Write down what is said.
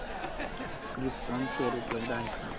krypton share उपलब्ध आहेत का